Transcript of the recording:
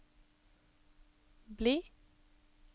bli